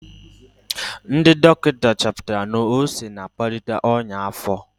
Ndị dọkịta chọpụtara na ose na-akpalite ọnya afo.